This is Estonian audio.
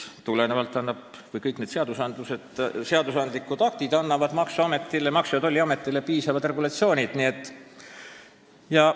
Ja kõik need seadusandlikud aktid annavad Maksu- ja Tolliametile piisavalt regulatsioone.